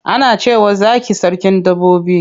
Ana cewa zaki sarkin dabbobi.